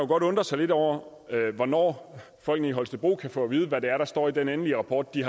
godt undre sig lidt over hvornår folkene i holstebro kan få at vide hvad det er der står i den endelige rapport de